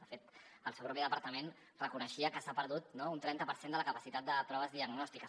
de fet el seu propi departament reconeixia que s’ha perdut no un trenta per cent de la capacitat de proves diagnòstiques